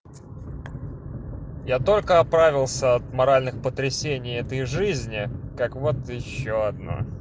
я только оправился от моральных потрясений этой жизни как вот ещё одно